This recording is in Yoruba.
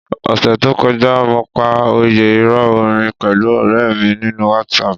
Ọ̀sẹẹ̀ẹ́ to kọjá, mo pa òyẹ́ ìrọ̀ orin pẹ̀lú ọ̀rẹ̀ mi nínú WhatsApp.